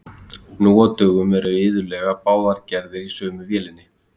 Nú á dögum eru iðulega báðar gerðir í sömu vélinni.